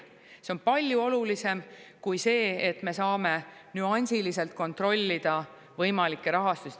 See on palju olulisem kui see, et me saame nüansiliselt kontrollida võimalikke rahastusi.